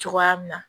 Cogoya min na